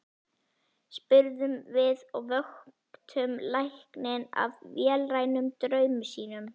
spurðum við og vöktum lækninn af vélrænum draumi sínum.